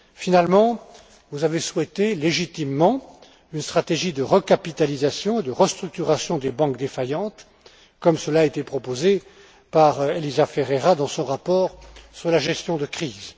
Finalement, vous avez souhaité légitimement une stratégie de recapitalisation et de restructuration des banques défaillantes, comme cela a été proposé par Elisa Ferreira dans son rapport sur la gestion de crise.